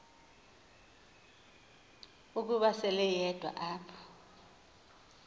ukuba seleyedwa apho